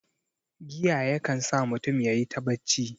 Giya ya kan sa mutun yayi ta bacci